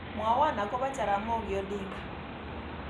Mwawon agoba Jaramogi odinga